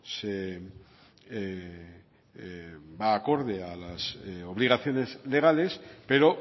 va acorde a las obligaciones legales pero